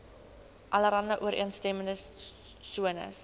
alle ooreenstemmende sones